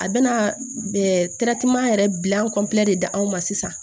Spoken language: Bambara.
A bɛna yɛrɛ bila de da an ma sisan